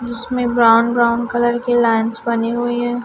जिसमें brown brown colour की lines बनी हुई है।